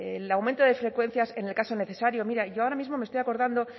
el aumento de frecuencias en el caso necesario mira yo ahora mismo me estoy acordando